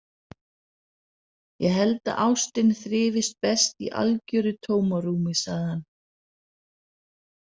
Ég held að ástin þrífist best í algjöru tómarúmi, sagði hann.